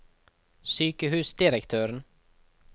sykehusdirektøren